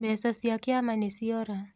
Mbeca cia kĩama nĩciora.